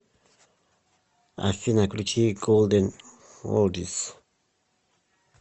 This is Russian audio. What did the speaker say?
афина включи голден олдис